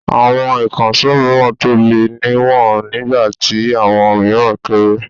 Àwọn ìkànṣó mìíràn tóbi níwọ̀n nígbà tí àwọn mìíràn kéré.